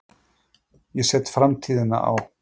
Ég set framtíðina á.